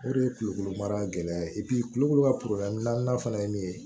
O de ye kulukoro mara gɛlɛya ye kulukoro ka fana ye min ye